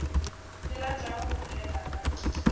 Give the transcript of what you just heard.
ke ratago go bolela ka